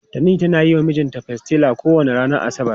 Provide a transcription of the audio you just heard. Tani tana yi wa mijinta pastilla kowane ranar asabar.